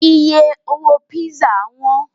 iye owó pizza wón